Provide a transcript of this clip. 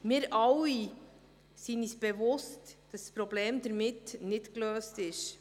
Wir sind uns alle bewusst, dass das Problem damit nicht gelöst ist.